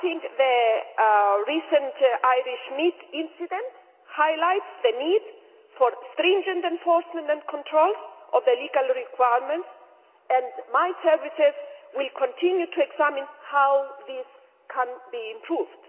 The recent Irish meat incident highlights the need for stringent enforcement and controls on legal requirements, and my services will continue to examine how that can be improved.